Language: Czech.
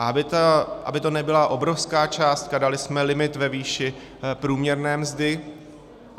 A aby to nebyla obrovská částka, dali jsme limit ve výši průměrné mzdy.